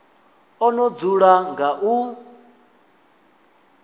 o no dzula nga u